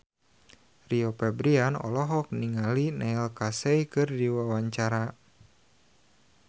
Rio Febrian olohok ningali Neil Casey keur diwawancara